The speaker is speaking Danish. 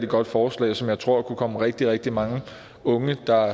godt forslag som jeg tror kunne komme rigtig rigtig mange unge der